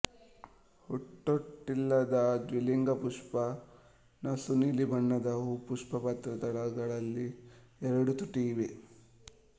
ಹೂತೊಟ್ಟಿಲ್ಲದ ದ್ವಿಲಿಂಗ ಪುಷ್ಪ ನಸುನೀಲಿ ಬಣ್ಣದ ಹೂ ಪುಷ್ಪಪತ್ರ ದಳಗಳಿಗೆ ಎರಡು ತುಟಿ ಇವೆ